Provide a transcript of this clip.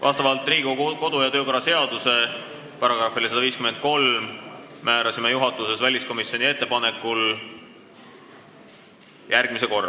Vastavalt Riigikogu kodu- ja töökorra seaduse §-le 153 määrasime juhatuses väliskomisjoni ettepanekul järgmise korra.